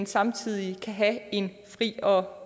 samtidig kan have en fri og